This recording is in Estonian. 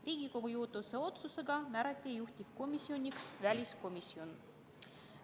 Riigikogu juhatuse otsusega määrati juhtivkomisjoniks väliskomisjon.